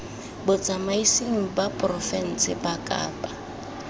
botsamaisng ba porofense ba kapa